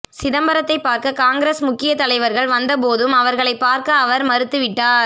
சிதம்பரத்தை பார்க்க காங்கிரஸ் முக்கிய தலைவர்கள் வந்த போதும் அவர்களை பார்க்க அவர் மறுத்துவிட்டார்